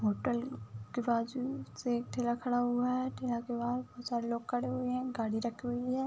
Hotel के बाजु से ठेला खड़ा हुआ है। ठेला के बाहर बोहोत सारे लोग खड़े हुए हैं। गाड़ी रखी हुई है।